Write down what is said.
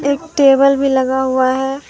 एक टेबल भी लगा हुआ है।